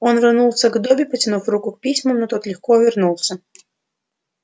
он рванулся к добби протянув руку к письмам но тот легко увернулся